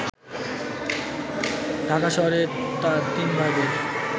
ঢাকা শহরে তার তিনভাগের